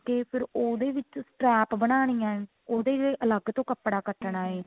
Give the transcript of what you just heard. ਕੇ ਫੇਰ ਉਹਦੇ ਵਿੱਚ strap ਬਣਾਨੀ ਆ ਉਹਦੇ ਅਲੱਗ ਤੋਂ ਕੱਪੜਾ ਕੱਟਣਾ ਏ